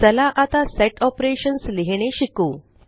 चला आता set operations लिहीणे शिकू